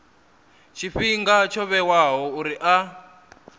tshifhinga tsho vhewaho uri a